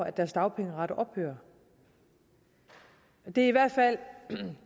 at deres dagpengeret ophører det er i hvert fald